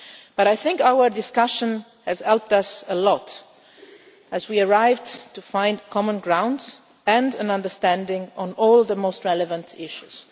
But I think our discussion has helped us a lot, as we managed to find common ground and an understanding on all the most relevant issues.